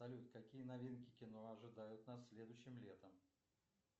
салют какие новинки кино ожидают нас следующим летом